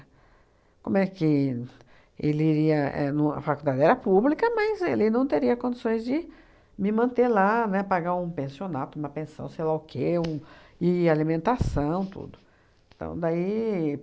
Como é que ele iria é no a faculdade era pública, mas ele não teria condições de me manter lá, né, pagar um pensionato, uma pensão, sei lá o quê um, e alimentação, tudo. Então daí